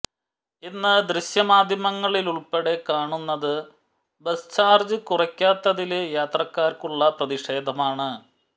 ഇന്ന് ദൃശ്യമാധ്യമങ്ങളിലുള്പ്പെടെ കാണുന്നത് ബസ് ചാര്ജ് കുറയ്ക്കാത്തതില് യാത്രക്കാര്ക്കുള്ള പ്രതിഷേധമാണ്